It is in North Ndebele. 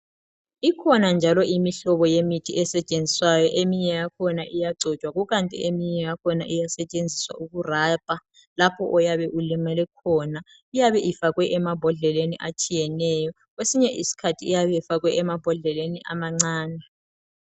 Ikhona njalo imihlobo yemithi esetshenziswayo eminye yakhona iyagcotshwa kukanti eminye yakhona iyasetshenziswa uku rubber lapho oyabe ulimele khona iyabe ifakwe emambodleleni atshiyeneyo kwesinye isikhathi iyabe ifakwe emambodleleni amancane.